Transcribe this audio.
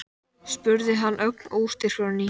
spurði hann ögn óstyrkur á ný.